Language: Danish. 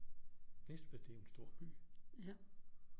Næstved det en stor by